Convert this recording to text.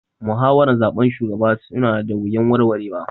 Muhawaran zaben shugaba su na da wuyan warwara